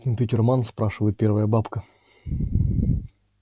компьютерман спрашивает первая бабка